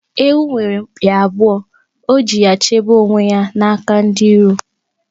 Ewu nwere mpi abụọ, o ji ya chebe onwe ya n'aka ndi iro.